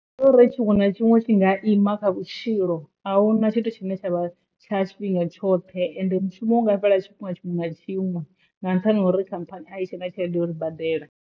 Ngori tshiṅwe na tshiṅwe tshi nga ima kha vhutshilo ahuna tshithu tshine tshavha tsha tshifhinga tshoṱhe ende mushumo u nga fhela tshifhinga tshiṅwe na tshiṅwe nga nṱhani ha uri khamphani a i tshena tshelede ya uri badela.